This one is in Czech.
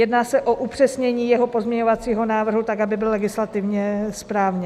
Jedná se o upřesnění jeho pozměňovacího návrhu tak, aby byl legislativně správně.